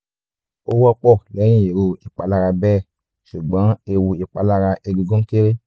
ó wọ́pọ̀ lẹ́yìn irú ìpalára bẹ́ẹ̀ ṣùgbọ́n ewu ìpalára egungun kééré